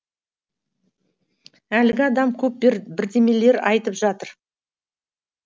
әлгі адам көп бірдемелер айтып жатыр